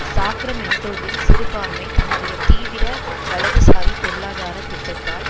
சாக்ரமென்டோவில் சிறுபான்மை தன்னுடைய தீவிர வலதுசாரி பொருளாதார திட்டத்தால்